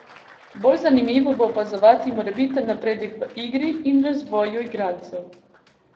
Bolj zanimivo bo opazovati morebiten napredek v igri in razvoju igralcev.